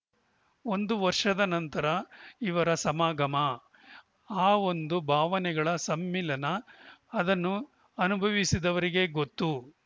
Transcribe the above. ಒಂದು ವರ್ಷದ ನಂತರ ಇವರ ಸಮಾಗಮ ಆ ಒಂದು ಭಾವನೆಗಳ ಸಮ್ಮಿಳನ ಅದನ್ನು ಅನುಭವಿಸಿದವರಿಗೇ ಗೊತ್ತು